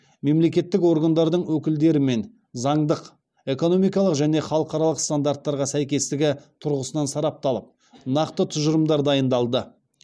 мемлекеттік органдардың өкілдерімен заңдық эконимкалық және халықаралық стандарттарға сәйкестігі тұрғысынан сарапталып нақты тұжырымдар дайындалды